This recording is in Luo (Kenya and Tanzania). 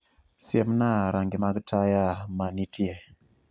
Siemna rangi mag taya manitie